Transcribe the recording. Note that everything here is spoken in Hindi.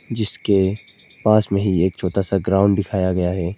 जिसके पास में ही एक छोटा सा ग्राउंड दिखाया गया है।